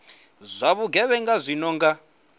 zwa vhugevhenga zwi no nga